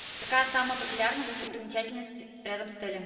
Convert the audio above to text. какая самая популярная достопримечательность рядом с отелем